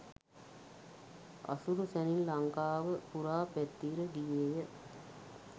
අසුරු සැණින් ලංකාව පුරා පැතිර ගියේය